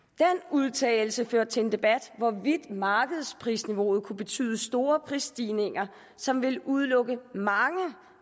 udtalelse førte til en debat om hvorvidt markedsprisniveauet kunne betyde store prisstigninger som ville udelukke mange